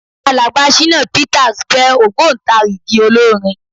Alàgbà Ṣínà Peters jẹ́ ògbóntarìgì olórin.